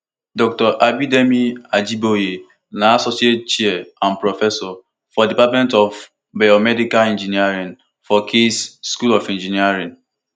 dr abidemi ajiboye na associate chair and professor for di department of biomedical engineering for case school of engineering